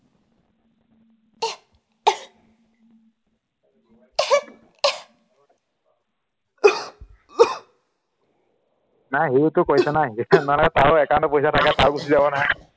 নাই সি ওতো কৰিছে নহয় মানে তাৰো account ত পইচা থাকে তাৰো গুচি যাব নহয়